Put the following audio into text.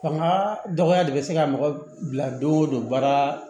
Fanga dɔgɔya de bɛ se ka mɔgɔ bila don o don baara